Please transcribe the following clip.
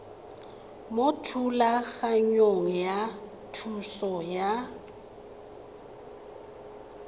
mo thulaganyong ya thuso y